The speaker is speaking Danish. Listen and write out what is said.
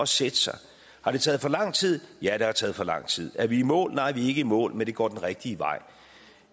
sætte sig har det taget for lang tid ja det har taget for lang tid er vi i mål nej vi er ikke i mål men det går den rigtige vej